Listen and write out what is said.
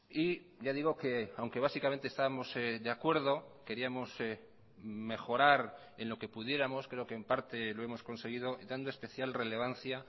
y ya digo que aunque básicamente estábamos de acuerdo queríamos mejorar en lo que pudiéramos creo que en parte lo hemos conseguido dando especial relevancia